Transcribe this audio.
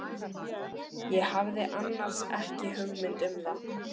Ég hafði annars ekki hugmynd um að